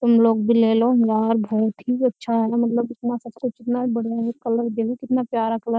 तुम लोग भी ले लो यार बहुत ही अच्छा है मतलब इतना सब कुछ इतना बढ़िया है कलर देख कितना प्यारा कलर --